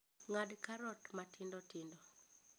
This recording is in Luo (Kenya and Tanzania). Ng'ad karot matindotindo